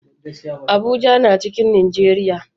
Abuja na cikin Najeriya